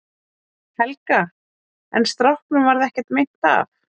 Helga: En stráknum varð ekkert meint af?